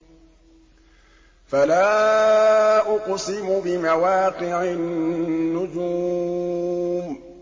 ۞ فَلَا أُقْسِمُ بِمَوَاقِعِ النُّجُومِ